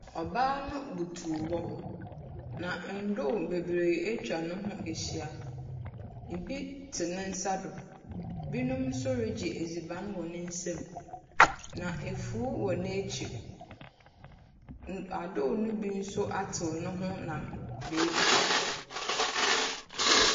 Ɔbaa no butu hɔ, na ndoe bebree atwa ne ho ehyia. Ibi tse ne nsa do. Binom nso regye edziban wɔ ne nsam, na efuw wɔ n'ekyir. N adoe no bi nso atsew ne ho nam beebi fofor.